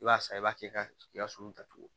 I b'a san i b'a kɛ ka i ka sunuta turu